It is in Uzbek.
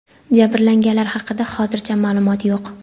Jabrlanganlar haqida hozircha ma’lumot yo‘q.